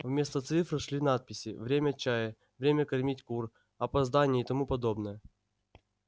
вместо цифр шли надписи время чая время кормить кур опоздание и тому подобное